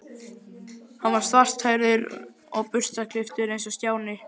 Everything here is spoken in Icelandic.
Hann var svarthærður og burstaklipptur eins og Stjáni.